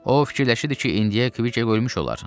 O fikirləşirdi ki, indiyə Kviçek ölmüş olar.